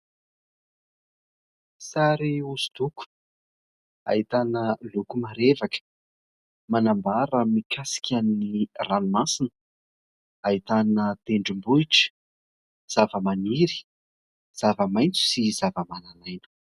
Sary hosodoko ahitana loko marevaka manambara mikasika ny ranomasina ; ahitana tendrombohitra, zavamaniry, zava-maitso sy zavamananaina.